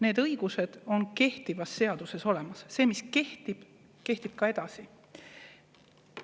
Need õigused on kehtivas seaduses olemas – see, mis kehtib, kehtib ka edasi.